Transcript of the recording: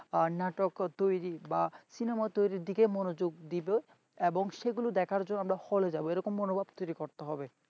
নাটক তৈরি বা cinema তৈরীর দিকে মনোযোগ দিব এবং সেগুলো দেখার জন্য আমরা হলে যাব এরকম মনোভাব তৈরি করতে হবে।